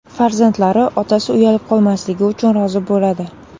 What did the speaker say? Farzandlari otasi uyalib qolmasligi uchun rozi bo‘ladi .